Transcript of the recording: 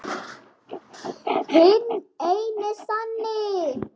Hinn eini sanni!